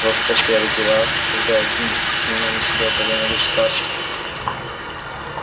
вот как обстояли дела когда я гм принял на себя управление государством